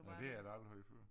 Ja det har jeg da aldrig hørt før